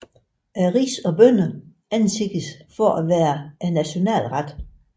Ris og bønner anses for at være nationalretten